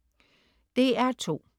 DR2: